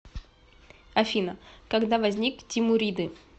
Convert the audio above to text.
афина когда возник тимуриды